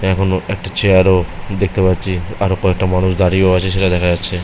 এখনো একটা চেয়ারও দেখতে পাচ্ছি। আরও কয়েকটা মানুষ দাঁড়িয়েও আছে সেটা দেখা যাচ্ছে ।